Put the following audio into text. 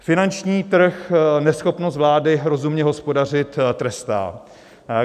Finanční trh neschopnost vlády rozumně hospodařit trestá.